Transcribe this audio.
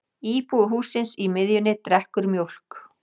Íbúi hússins í miðjunni drekkur mjólk.